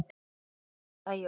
Sem gerist æ oftar.